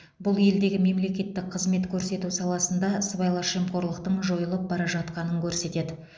бұл елдегі мемлекеттік қызмет көрсету саласында сыбайлас жемқорлықтың жойылып бара жатқанын көрсетеді